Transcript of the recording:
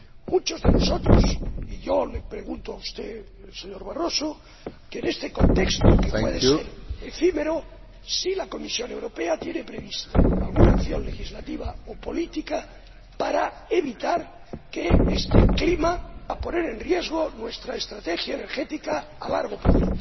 muchos de nosotros, y yo, le preguntamos a usted, señor Barroso, en este contexto, que puede ser efímero, si la Comisión Europea tiene prevista alguna acción legislativa o política para evitar que este clima ponga en riesgo nuestra estrategia energética a largo plazo.